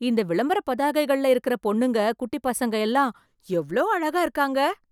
இந்த விளம்பர பதாகைகள்ள இருக்கற பொண்ணுங்க, குட்டிப் பசங்க எல்லாம் எவ்ளோ அழகா இருக்காங்க...